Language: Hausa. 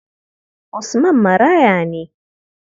Usman maraya ne.